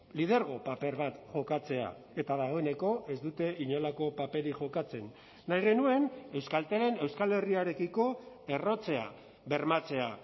lidergo paper bat jokatzea eta dagoeneko ez dute inolako paperik jokatzen nahi genuen euskaltelen euskal herriarekiko errotzea bermatzea